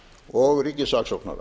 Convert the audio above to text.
og ríkissaksóknara